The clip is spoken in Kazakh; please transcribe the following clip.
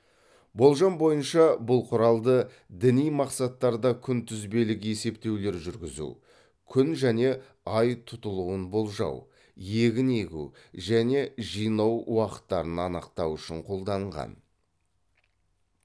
болжам бойынша бұл құралды діни мақсаттарда күнтізбелік есептеулер жүргізу күн және ай тұтылуын болжау егін егу және жинау уақыттарын анықтау үшін қолданған